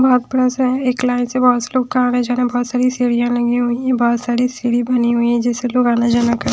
बहोत बड़ा सा हैएक लाइन से बहोत से लोग का बहोत सारी सीढ़ियाँ लगी हुई है बहोत सारी सीढ़ी बनी हुई है जिससे लोग आना जाना --